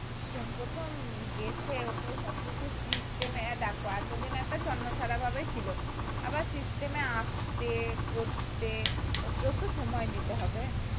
প্রথম প্রথম গেছে ওকে সব কিছু system এ দেখো এতদিন একটা ছন্নছাড়া ভাবে ছিল আবার system এ আসতে করতে ওকেও তো সময় দিতে হবে